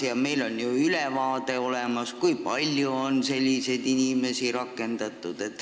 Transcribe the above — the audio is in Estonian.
Ning meil on ju ülevaade olemas, kui palju on selliseid inimesi rakendatud.